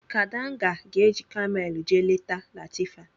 Kadanga ga-eji Kamelu jee leta Latifa.